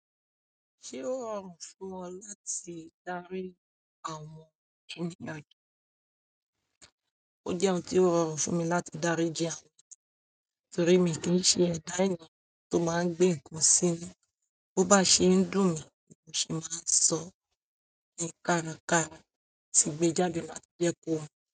Ṣé ó rọrùn fún ọ láti dári àwọn---. Ó jẹ́ ohun tí ó rọrùn fún mi láti dáríji àwọn--, torí mi kì í ṣe ẹ̀dá ènìyàn tó máa ń gbé nǹkan sí inú. Bo bá ṣe ń dùn mí ni mo se máa sọ, ní kárakára tí gbé jáde láti jẹ kó wa.